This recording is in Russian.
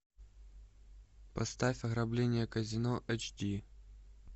поставь ограбление казино эйч ди